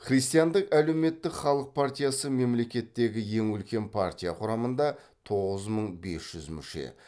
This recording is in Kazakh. христиандық әлеуметтік халық партиясы мемлекеттегі ең үлкен партия құрамында тоғыз мың бес жүз мүше